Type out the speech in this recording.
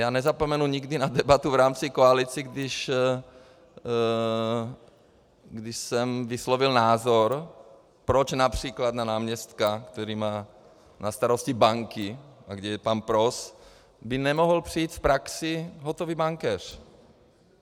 Já nezapomenu nikdy na debatu v rámci koalice, když jsem vyslovil názor, proč například na náměstka, který má na starosti banky a kde je pan Pros, by nemohl přijít v praxi hotový bankéř.